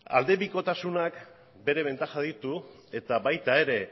aldebikotasunak bere bentajak dituela eta baita ere